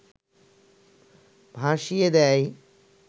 ভাসিয়ে দেয়